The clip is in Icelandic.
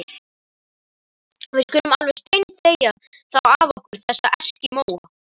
Við skulum alveg steinþegja þá af okkur, þessa eskimóa.